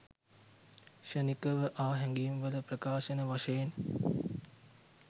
ක්ෂණික ව ආ හැඟීම්වල ප්‍රකාශන වශයෙන්